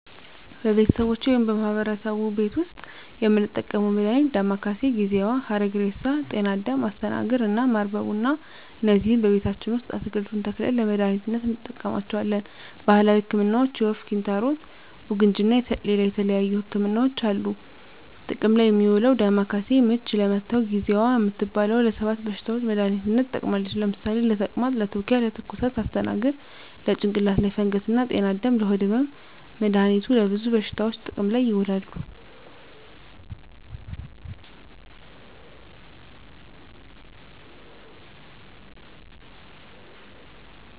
በቤተሰቦቼ ወይም በማህበረሰቡ ቤት ዉስጥ የምንጠቀመዉ መድሃኒት ዳማከሴ፣ ጊዜዋ፣ ሀረግሬሳ፣ ጤናአዳም፣ አስተናግር እና ማር በቡና እነዚህን ቤታችን ዉስጥ አትክልቱን ተክለን ለመድሃኒትነት እንጠቀማቸዋለን። ባህላዊ ህክምናዎች የወፍ፣ ኪንታሮት፣ ቡግንጂ እና ሌላ የተለያዩ ህክምናዎች አሉ። ጥቅም ላይ እሚዉለዉ ዳማከሴ፦ ምች ለመታዉ፣ ጊዜዋ እምትባለዋ ለ 7 በሽታዎች መድሃኒትነት ትጠቅማለች ለምሳሌ፦ ለተቅማጥ፣ ለትዉኪያ፣ ለትኩሳት... ፣ አስተናግር፦ ለጭንቅላት ላይ ፈንገስ እና ጤናአዳም፦ ለሆድ ህመም... መድሃኒቱ ለብዙ በሽታዎች ጥቅም ላይ ይዉላሉ።